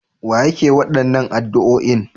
Wa yake waɗannan addu'oin?